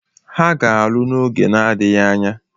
Ha ga-alụ n'oge na-adịghị anya.